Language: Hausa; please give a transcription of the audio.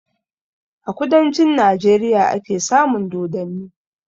A kudancin Najeriya ake samun dodanni